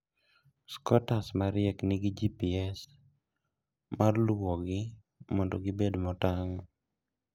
Scooters mariek nigi GPS mar luwogi mondo gibed motang'.